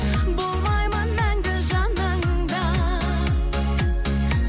болмаймын мәңгі жаныңда